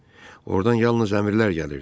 Ordan yalnız əmrlər gəlirdi.